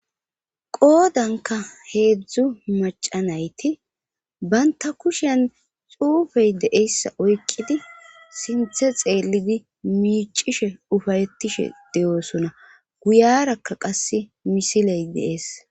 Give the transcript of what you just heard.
Qoodanka heedzdzu macanayti banta kushen xuufey deeyssa oyqidi sinthe xeellidi miicishe ufayettishe deyoosona guyarakka qasse misiley deees.